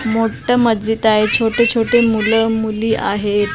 मोठं मज्जिद आहे छोटेछोटे मुलं मुली आहेत.